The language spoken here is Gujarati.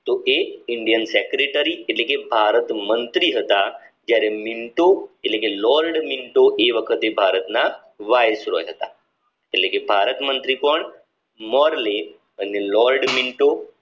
તો એ indian secretary એટલે કે ભારત મંત્રી હતા જયારે મિન્ટો એટલે કે લોર્ડ મિન્ટો એ વખતે ભારત ના વાઇસરોલ હતા એટલે કે ભારત મંત્રી કોણ મોરલે અને લોર્ડ મિન્ટો